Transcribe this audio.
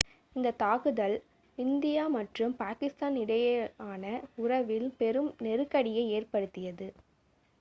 இந்த தாக்குதல் இந்தியா மற்றும் பாகிஸ்தான் இடையேயான உறவில் பெரும் நெருக்கடியை ஏற்படுத்தியது